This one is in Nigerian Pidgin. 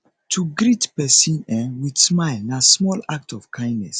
to greet persin um with smile na small act of kindness